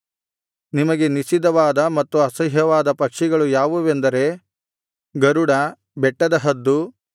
ನಿಮಗೆ ನಿಷಿದ್ಧವಾದ ಮತ್ತು ಅಸಹ್ಯವಾದ ಪಕ್ಷಿಗಳು ಯಾವುವೆಂದರೆ ಗರುಡ ಬೆಟ್ಟದ ಹದ್ದು